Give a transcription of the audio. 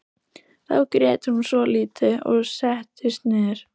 Þá grét hún svolítið og settist niður.